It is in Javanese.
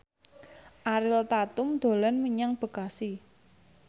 Ariel Tatum dolan menyang Bekasi